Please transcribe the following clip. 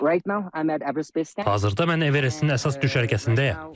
Hazırda mən Everestin əsas düşərgəsindəyəm.